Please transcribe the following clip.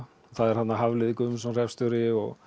það er þarna Hafliði Guðmundsson hreppsstjóri og